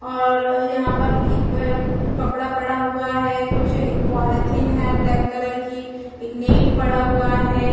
--और यहाँ पर एक कपड़ा पड़ा हुआ हैं कुछ एक पॉलिथीन हैं ब्लैक कलर की एक नीट पड़ा हुआ हैं।